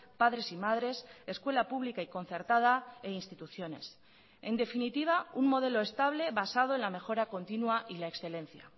padres y madres escuela pública y concertada e instituciones en definitiva un modelo estable basado en la mejora continua y la excelencia